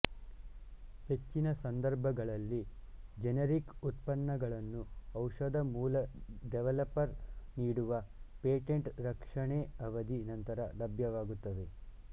ಹೆಚ್ಚಿನ ಸಂದರ್ಭಗಳಲ್ಲಿ ಜೆನೆರಿಕ್ ಉತ್ಪನ್ನಗಳನ್ನು ಔಷಧ ಮೂಲ ಡೆವಲಪರ್ ನೀಡುವ ಪೇಟೆಂಟ್ ರಕ್ಷಣೆ ಅವಧಿ ನಂತರ ಲಭ್ಯವಾಗುತ್ತವೆ